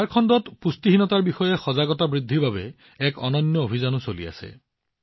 ঝাৰখণ্ডত পুষ্টিহীনতাৰ বিষয়ে সজাগতা বৃদ্ধিৰ বাবে এক অনন্য অভিযানো চলি আছে